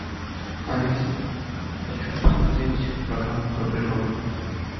алиса хочу посмотреть программу про природу